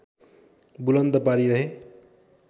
बुलन्द पारिरहे।